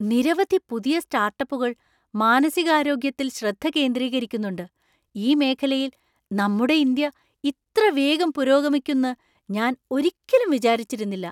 നിരവധി പുതിയ സ്റ്റാർട്ടപ്പുകൾ മാനസികാരോഗ്യത്തിൽ ശ്രദ്ധ കേന്ദ്രീകരിക്കുന്നുണ്ട് ! ഈ മേഖലയിൽ നമ്മുടെ ഇന്ത്യ ഇത്ര വേഗം പുരോഗമിക്കുന്ന് ഞാൻ ഒരിക്കലും വിചാരിച്ചിരുന്നില്ല.